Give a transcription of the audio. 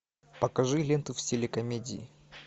покажи ленту в стиле комедии